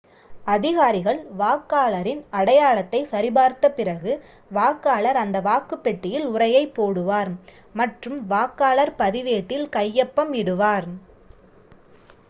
அதிகாரிகள் வாக்காளரின் அடையாளத்தைச் சரி பார்த்த பிறகு வாக்காளர் அந்த வாக்குப் பெட்டியில் உறையைப் போடுவார் மற்றும் வாக்காளர் பதிவேட்டில் கையொப்பம் இடுவார்